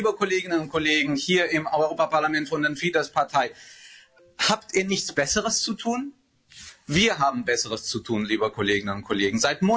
Liebe Kolleginnen und Kollegen hier im Europäischen Parlament von der Fidesz Partei, habt ihr nichts Besseres zu tun? Wir haben Besseres zu tun, liebe Kolleginnen und Kollegen.